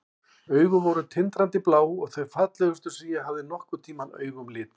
Augun voru tindrandi blá og þau fallegustu sem ég hafði nokkurn tímann augum litið.